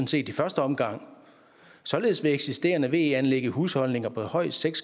set i første omgang således vil eksisterende ve anlæg i husholdninger på højst seks